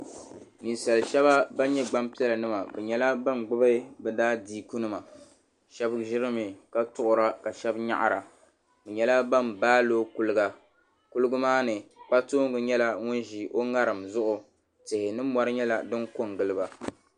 Ninsali sheba ban nyɛ gbampiɛla nima bɛ nyɛla ban gbibi bɛ daadiiku nima sheba ʒirimi ka tuɣura ka sheba nyaɣira bɛ nyɛla ban baaloo kuliga kuliga maa ni kpatoonga nyɛla ŋun ʒi o ŋariŋ zuɣu tihi ni mori nyɛla din kongili ba.